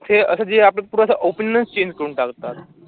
ते असं जे आपलं पूर्ण असं opinion चं change करून टाकतात.